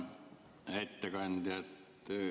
Hea ettekandja!